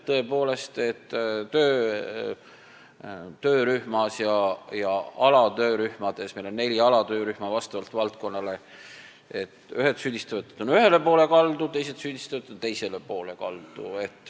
Tõepoolest, töörühma ja alatöörühmade puhul – meil on neli alatöörühma vastavalt valdkonnale – süüdistavad ühed, et need on ühele poole kaldu, teised süüdistavad, et need on teisele poole kaldu.